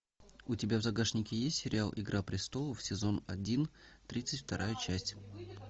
у тебя в загашнике есть сериал игра престолов сезон один тридцать вторая часть